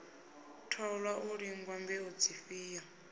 thoṅwa u lingwa mbeu dzifhio